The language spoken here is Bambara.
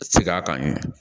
Segin a kan yɛrɛ